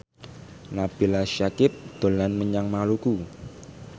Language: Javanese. Nabila Syakieb dolan menyang Maluku